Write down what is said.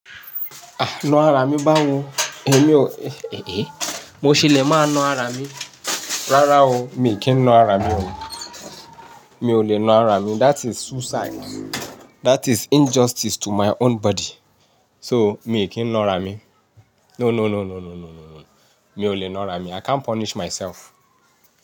À, na ara mi bá wo? Emi ò, eh, mo ṣe lè máa na ara mi. Rárá o, mi kì í na ara mi o. Mi ò lè na ara mi. That is suicide. That is injustice to my own body. So mi kì í nà ra mi. No, no, no, no, no, no, no, no. Mi ò lè na ara mi. I can't punish myself.